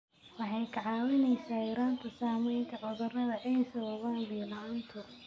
Waxay kaa caawinaysaa yaraynta saamaynta cudurrada ay sababaan biyo la'aantu.